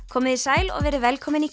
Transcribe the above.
komiði sæl og verið velkomin í